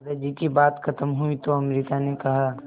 दादाजी की बात खत्म हुई तो अमृता ने कहा